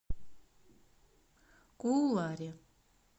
кууларе